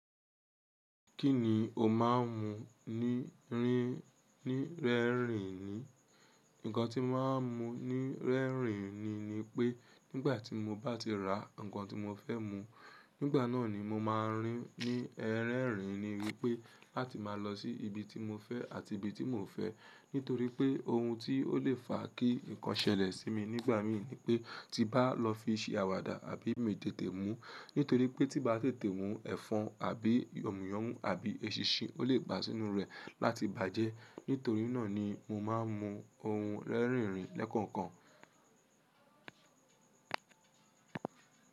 Kí ni o máa ń mú ní rín ní rẹ́rìn-ín ni? Ǹkan tí màá mú ní rẹ́rìn-ín ni ni pé nígbà tí mo bá ti rà ǹkan tí mo fẹ́ mú, nígbà náà ni mo máa ń rín ní ẹran rìn-ín-ín wí pé láti máa lọ sí ibi tí mo fẹ́ àti ibi tí mo ò fẹ́. Nítorí pé ohun tí ó lè fa kí ǹkan ṣẹlẹ̀ sí mi nígbà mí ní pé tí bá lọ fi ṣẹ àwàdà àbí mi tètèmú nítorí pé tí bá tètè mú ẹ̀fọn àbí yòmùyọ́mù àbí eṣinṣin ó lè bà sínú rẹ̀ láti bàjẹ́. Nítorí náà ni mo máa ń mú ohun rẹ́rìn-ín lẹ́kọ̀ọ̀kan.